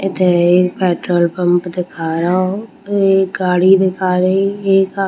इथे एक petrol pump दिखाय र हो एक गाड़ी दिखा रही एक अ --